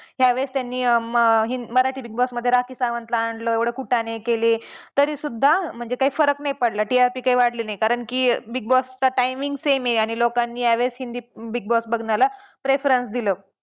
यावेळेस त्यांनी Marathi Big Boss मध्ये राखी सावंतला आणलं एवढं पण त्याने केले पण तरीसुद्धा म्हणजे काही फरक नाही पडला. TRP काही वाढला नाही कारण की Big Boss चा timing same आहे आणि लोकांनी यावेळेस हिंदी Big Boss बघण्याला preference दिलं.